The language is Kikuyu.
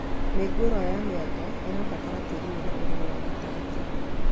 Mĩũngũrwa ya mĩanga ĩbataraga tĩĩri wĩna ũroro wa gatagatĩ